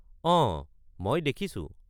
অঁ, মই দেখিছোঁ।